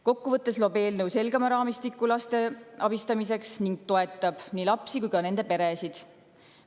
Kokku võttes loob eelnõu selgema raamistiku laste abistamiseks ning toetab nii lapsi kui ka nende peresid.